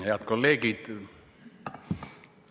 Head kolleegid!